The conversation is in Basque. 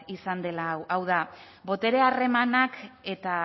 izan dela hau da botere harremanak eta